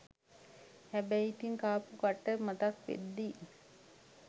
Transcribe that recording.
හැබැයි ඉතින් කාපු කට්ට මතක් වෙද්දී